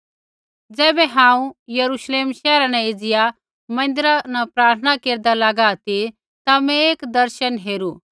ज़ैबै हांऊँ यरूश्लेम शैहरा न एज़िया मन्दिरा प्रार्थना केरदा लागा ती ता मैं एक दर्शन हेरू